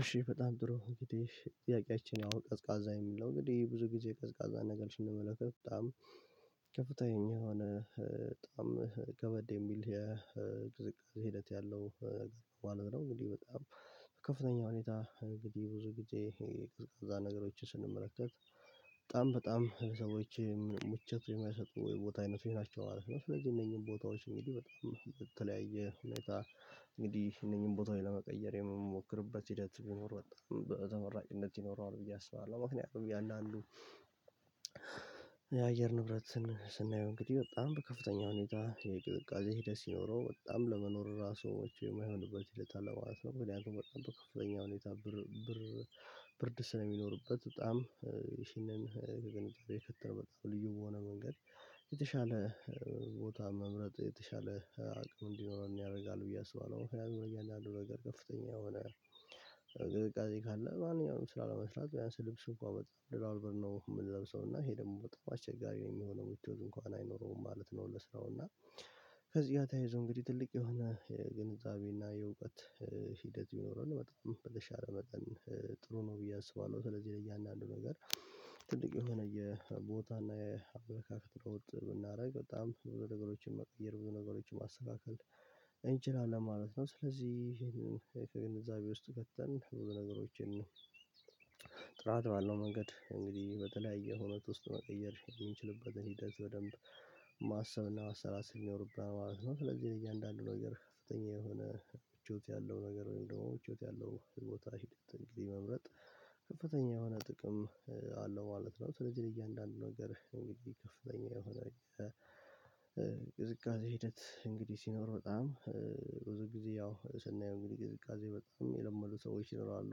እሺ በጣም ጥሩ እንግዲህ ጥያቄያችን ያው ቀዝቃዛ የሚለው እንግዲህ ብዙ ጊዜ ቀዝቃዛ ነገሮችን እንመለከታለን በጣም ከፍተኛ የሆነ በጣም ከበድ የሚል የቅዝቃዜ ሂደት ያለው ማለት ነው። እንግዲህ በጣም ከፍተኛ ሁኔታ እንግዲህ ብዙ ግዜ ቀዝቃዛ ነገሮችን ስንመለከት በጣም በጣም ሰዎች ምቾት የሚያሰጡ የቦታ አይነት ይሆናቸዋል ማለት ነው። ስለዚህ እነኚህን ቦታዎች እንግዲህ በጣም የተለያየ ሁኔታ እንግዲህ እነኚህን ቦታዎች ለመቀየር የምንሞክረበት ሂደት ቢኖር በተመራጭነት ይኖረዋል ብዬ አስባለሁ። ምክንያቱም ያለ አሉ። የአየር ንብረት ስንይው እንግዲህ በጣም ከፍተኛ ሁኔታ የቅዝቃዜ ሄደህ ሲኖረው በጣም ለመኖር ራሱ የማይሆንበት እለት አለ ማለት ነው። በጣም በከፍተኛ ሁኔታ ብር ብር ብርድ ስለሚኖርበት በጣም ይህንን ከግንኙነት የፈጠረ በጣም ልዩ በሆነ መንገድ የተሻለ ቦታ መምረጥ የተሻለ አቅም እንዲኖረን ያደርጋል ብዬ አስባለሁ። ያን ያህል ነገር ከፍተኛ የሆነ ካለ ማንኛውም ስላለመስራት ቢያንስ ልብስ እንኳን በጣም ደራርበን ነው የምንለብሰው እና ይሄ ደግሞ በጣም አስቸጋሪ የሚሆነው ምቾት እንኳን አይኖረውም ማለት ነው። ለስራው እና ከዚህ ጋር ተያይዞ እንግዲህ ትልቅ የሆነ የግንዛቤና የእውቀት ሂደት ይኖረን በጣም በለሻለ መጠን ጥሩ ነው ብዬ አስባለሁ። ስለዚህ ለእያንዳንዱ ነገር ትልቅ የሆነ የቦታ እና የአበላካክት ሮጥ ብናደርግ በጣም በነገሮችን መቀየር ብዙ ነገሮችን ማስተካከል እንችላለን ማለት ነው። ስለዚህ ይሄንን ግንዛቤ ውስጥ ከተን በነገሮችን ጥራት ባለው መንገድ እንግዲህ በተለያየ ሁኔታ ውስጥ መቀየር የምንችልበትን ሂደት በደንብ ማሰብና ማሰላሰል ይኖርብናል ማለት ነው። ስለዚህ እያንዳንዱ ነገር ከፍተኛ የሆነ ምቾት ያለው ነገር ነው ደግሞ ምቾት ያለው ቦታ ሂድ እንግዲህ መምረጥ ከፍተኛ የሆነ ጥቅም አለው ማለት ነው። ስለዚህ ለእያንዳንዱ ነገር እንግዲህ ይከፍለኛል የሆነ የቅዝቃዜ ሂደት እንግዲህ ሲኖር በጣም ብዙ ጊዜ ያው ስናየው እንግዲህ ቅዝቃዜ በጣም የለመዱ ሰዎች ይኖራሉ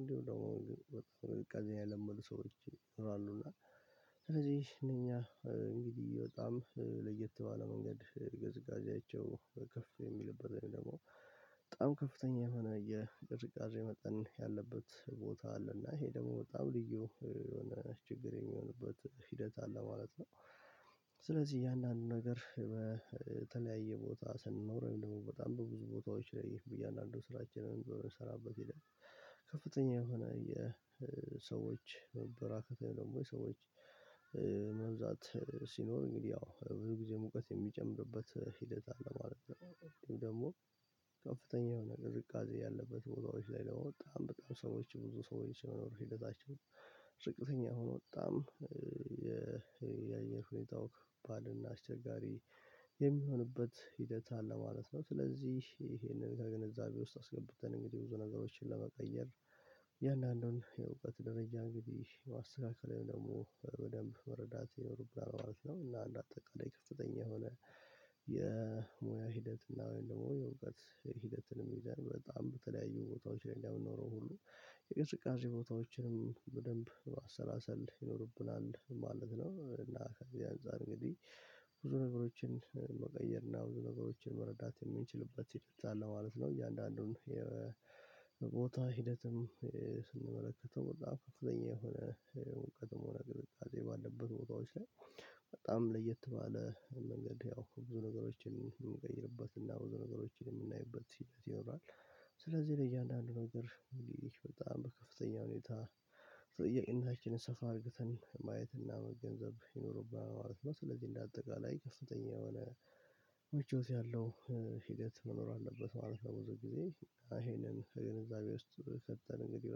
እንዴ ደግሞ በጣም ቅዝቃዜ ያልመዱ ሰዎች ይኖራሉ። እና ስለዚህ እነኛ እንግዲህ በጣም ለየት ባለ መንገድ ቅዝቃዜያቸው ከፍተው የሚለበትን ደግሞ በጣም ከፍተኛ የሆነ የቅዝቃዜ መጠን ያለበት ቦታ አለ እና ይሄ ደግሞ በጣም ልዩ የሆነ ችግር የሚሆንበት ሂደት አለ ማለት ነው። ስለዚህ እያንዳንዱን ነገር በተለያየ ቦታ ስንኖረኝ ደግሞ በጣም በብዙ ቦታዎች ላይ በእያንዳንዱ ስራችንን በምንሰራበት ሄደን ከፍተኛ የሆነ የሰዎች መበራከት ደግሞ የሰዎች መብዛት ሲኖር እንግዲህ ያው ብዙ ጊዜ ሙቀት የሚጨምርበት ሂደት አለ ማለት ነው። ደግሞ ከፍተኛ የሆነ ቅዚቃዜ ያለበት ቦታዎች ላይ ለመውጣት በጣም ሰዎች ብዙ ሰዎች የሚኖሩት ሂደታቸው ነው ዝቀተኛ ሆኖ በጣም የአየር ሁኔታው ከባድና አስቸጋሪ የሚሆንበት ሂደት አለ ማለት ነው። ስለዚህ ይሄንን ከግንዛቤ ውስጥ አስገብተን እንግዲህ ብዙ ነገሮችን ለመቀየር የእያንዳንዱን የእውቀት ደረጃ እንግዲህ የማስተካከለው ደግሞ በደንብ መረዳት የኖርብናል ማለት ነወ። እና እንደ አጠቃላይ ከፍተኛ የሆነ የሙያ ሂደት እና ወይም ደግሞ የእውቀት ሂደትንም ይዘን በጣም በተለያዩ ቦታዎች ላይ እንደምንኖረው ሁሉ የቅዝቃዜ ቦታዎችንም በደንብ ማሰላሰል ይኖርብናል ማለት ነው። እና ከዚህ አንፃር እንግዲህ ብዙ ነገሮችን መቀየር እና ብዙ ነገሮችን መረዳት የምንችልበት ሂደት አለ ማለት ነው። እያንዳንዱን የቦታ ሂደትም ስንመለከተው በጣም ከፍተኛ የሆነ በጣም ለየት ባለ መንገድ ያው ብዙ ነገሮችን የምንቀይርበት እና ብዙ ነገሮችን የምናይበት ሂደት ይኖራል። ስለዚህ ለእያንዳንዱ ነው ድርሻ ሙሉ በጣም በከፍተኛ ሁኔታ ጥያቄና እንትን ሰፋ አድርገን ማየት እና መገንዘብ ይኖርብሃል ማለት ነው። ስለዚህ እንደ አጠቃላይ ከፍተኛ የሆነ ውጪው ያለው ሂደት መኖር አለበት ማለት ነው። ብዙ ጊዜ ይሄንን ከግንዛቤ ውስጥ ከተን እንግዲህ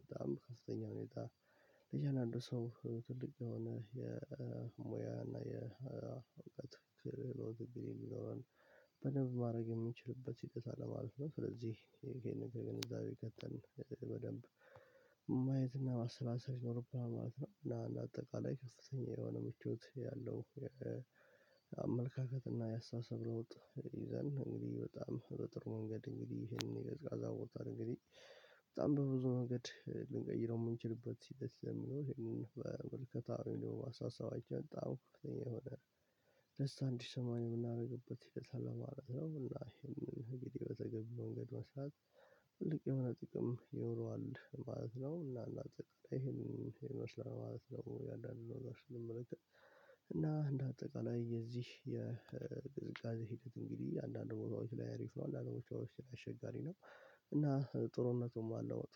በጣም ከፍተኛ ሁኔታ ለእያንዳንዱ ሰው ትልቅ የሆነ የሙያ እና የእውቀት ክርክር የሚኖረን በደንብ ማድረግ የምንችልበት ሂደት አለማለት ነው። ስለዚህ ይህንን በገንዛቤ ከተን በደንብ ማየትና ማሰላሰል ይኖርብናል ማለት ነው። እና አጠቃላይ ከፍተኛ የሆነ ምቾት ያለው አመለካከት እና ያሳሰብ ለውጥ ይዘን እንግዲህ በጣም በጥሩ መንገድ እንግዲህ ይሄንን የቀዝቃዛ እንግዲህ እንግዲህ በጣም በብዙ መንገድ ልንቀይረው የምንችልበት ሲል ደስ የሚለው ይሄንን በመልከታ አስተሳሰባቸው በጣም እኛ የሆነ እስከ አንድ ሺህ ሰማንያ የምናደርግበት ሂደት አለ ማለት ነው። እና ይህን እንግዲህ በተገቢው መንገድ መስራት ትልቅ የሆነ ጥቅም ይኖረዋል ማለት ነው። እና እንደአጠቃላይ ይሄንን ይመስላል ማለት ነው። እያንዳንድ ነገር ስንመለከት እና እንደ አጠቃላይ የዚህ የቅዝቃዜ ሂደት እንግዲህ የአንዳንድ ቦታዎች ላይ አሪፍ ነው አንዳንድ ቦታዎች ላይ አስቸጋሪ ነው እና ጥሩነቱም አለው መጥፎ